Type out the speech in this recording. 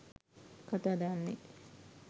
කතා දාන්නේ.